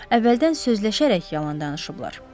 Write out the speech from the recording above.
Əvvəldən sözləşərək yalan danışıblar.